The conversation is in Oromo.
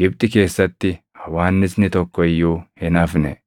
Gibxi keessatti hawwaannisni tokko iyyuu hin hafne.